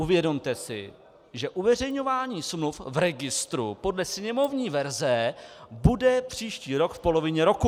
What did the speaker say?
Uvědomte si, že uveřejňování smluv v registru podle sněmovní verze bude příští rok v polovině roku.